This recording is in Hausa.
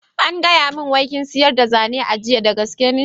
An gaya min wai kin siryar da zane a jiya, da gaske ne?